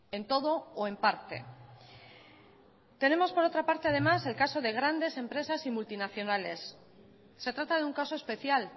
en todo o en parte tenemos por otra parte además el caso de grandes empresas y multinacionales se trata de un caso especial